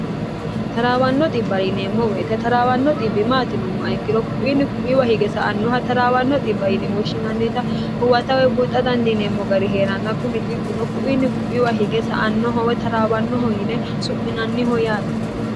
taraawanno xibba yineemmo weyite taraawanno xibbi maati yinummoha ikkiro ku'iinni ku'wiwa hige sa''annoha taraawanno yine woshshinnita huwatawe buuxa dandiineemmo gari hee'ranna kunni ino kuiinni ku'iwa hige sa annohowe taraawannoho yine su'minanniho yaate